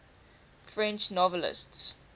french novelists